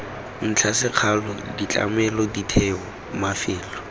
ntlha sekgala ditlamelo ditheo mafelo